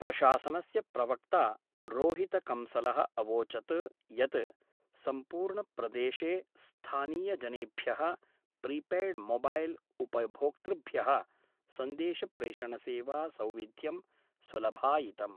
प्रशासनस्य प्रवक्ता रोहितकंसल: अवोचत् यत् सम्पूर्ण प्रदेशे स्थानीयजनेभ्यः प्रीपेयड्मोबैल् उपभोक्तृभ्यः सन्देशप्रेषणसेवा सौविध्यं सुलभायितम्।